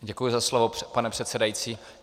Děkuji za slovo, pane předsedající.